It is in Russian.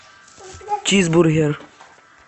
чизбургер